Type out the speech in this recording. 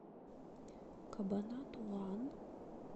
кабанатуан